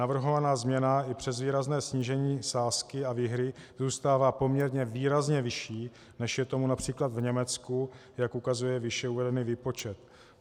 Navrhovaná změna i přes výrazné snížení sázky a výhry zůstává poměrně výrazně vyšší, než je tomu například v Německu, jak ukazuje výše uvedený výpočet.